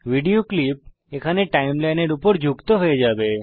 video clip এখানে সময়রেখার উপর যুক্ত হয়ে যাবে